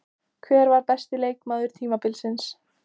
Hver var besti leikmaður tímabilsins?